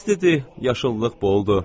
İstidir, yaşıllıq boldur.